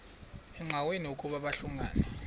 engqanweni ukuba babhungani